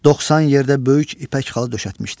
Doxsan yerdə böyük ipək xalı döşətmişdi.